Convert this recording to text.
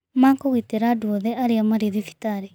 Ma kũgitĩra andũ othe arĩa marĩ thibitarĩ